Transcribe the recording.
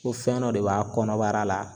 Ko fɛn dɔ de b'a kɔnɔbara la